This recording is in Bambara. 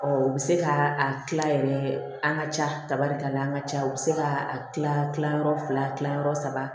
u bɛ se ka a kila yɛrɛ an ka ca kaba de ka na an ka ca u bɛ se ka a kila kila yɔrɔ fila kilayɔrɔ saba